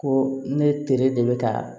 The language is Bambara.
Ko ne teri de bɛ ka